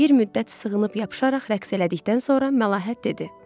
Bir müddət sığınıb yapışaraq rəqs elədikdən sonra Məlahət dedi.